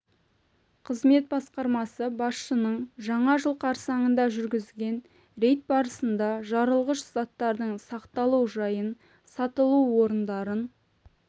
қызмет басқармасы басшысының жаңа жыл қарсаңында жүргізген рейд барысында жарылғыш заттардың сақталу жайын сатылу орындарын